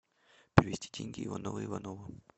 перевести деньги иванову иванову